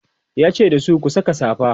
yace dasu "ku Saka safa!"